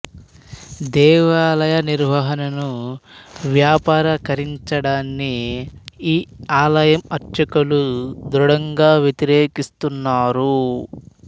దేవాలయాల నిర్వహణను వ్యాపారీకరించడాన్ని ఈ ఆలయం అర్చకులు దృఢంగా వ్యతిరేకిస్తున్నారు